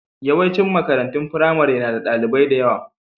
Yawancin makarantun firamare na da ɗalibai da yawa.